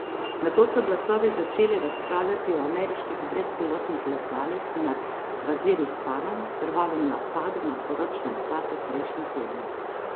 Nato so glasovi začeli razpravljati o ameriških brezpilotnih letalih nad Vaziristanom, krvavem napadu na poročne svate prejšnji teden.